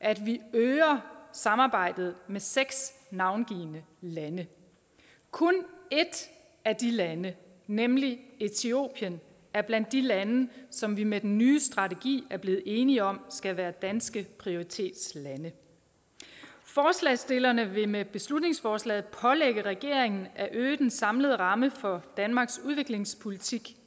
at vi øger samarbejdet med seks navngivne lande kun et af de lande nemlig etiopien er blandt de lande som vi med den nye strategi er blevet enige om skal være danske prioritetslande forslagsstillerne vil med beslutningsforslaget pålægge regeringen at øge den samlede ramme for danmarks udviklingspolitik